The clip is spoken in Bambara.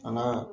An ka